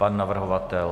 Pan navrhovatel.